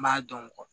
N b'a dɔn